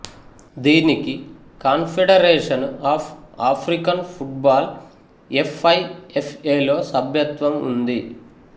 దీనికి confederation of African football F I F A లో సభ్యత్వం ఉంది